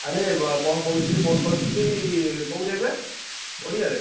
ଆରେ କଣ କହୁଥିଲି phone କରିଥିଲି କୋଉଠି ଏବେ? ପଡିଆ ରେ